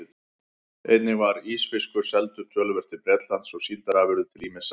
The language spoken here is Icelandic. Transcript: Einnig var ísfiskur seldur töluvert til Bretlands og síldarafurðir til ýmissa